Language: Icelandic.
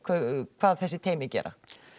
hvað þessi teymi gera